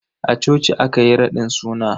A coci aka yi raɗin suna.